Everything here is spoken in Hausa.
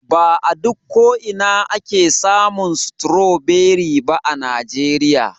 Ba a duk ko'ina ake samun stroberi ba a najeriya.